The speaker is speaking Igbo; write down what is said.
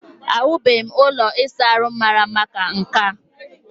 Ahụbeghị m ụlọ ịsa ahụ mara mma ka nke a